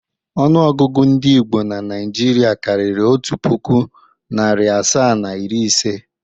Ọnụọgụgụ ndị Igbo na Naịjirịa karịrị otu puku, narị asaa na iri ise.